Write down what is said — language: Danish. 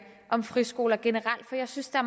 om friskoler generelt for jeg synes der